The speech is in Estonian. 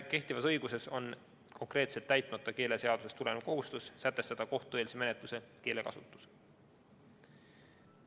Kehtivas õiguses on konkreetselt täitmata keeleseadusest tulenev kohustus sätestada kohtueelse menetluse keelekasutus.